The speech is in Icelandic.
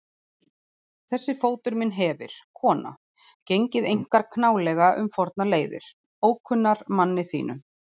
Þessi fótur minn hefir, kona, gengið einkar knálega um fornar leiðir, ókunnar manni þínum.